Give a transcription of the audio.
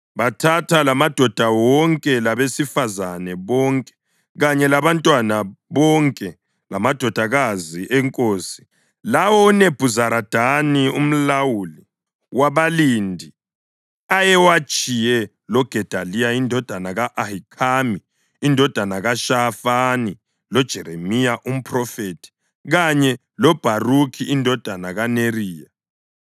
Bathatha lamadoda wonke, labesifazane bonke kanye labantwana bonke, lamadodakazi enkosi lawo uNebhuzaradani umlawuli wabalindi ayewatshiye loGedaliya indodana ka-Ahikhami, indodana kaShafani, loJeremiya umphrofethi kanye loBharukhi indodana kaNeriya.